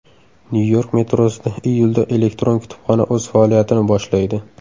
Nyu-York metrosida iyulda elektron kutubxona o‘z faoliyatini boshlaydi.